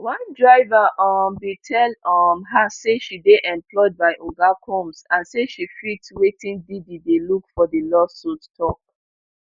one driver um bin tell um her say she dey employed by oga combs and say she fit wetin diddy dey look for di lawsuit tok